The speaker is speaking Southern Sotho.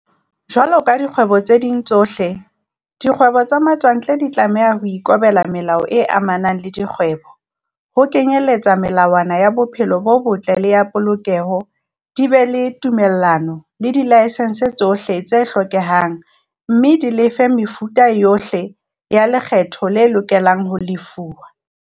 Jwalo ka dikgwebo tse ding tsohle, dikgwebo tsa matswantle di tlameha ho ikobela melao e amanang le dikgwebo, ho kenyeletsa melawana ya bophelo bo botle le ya polokeho, di be le ditumello le dilaesense tsohle tse hlokehang, mme di lefe mefuta yohle ya lekgetho e lokelang ho lefuwa.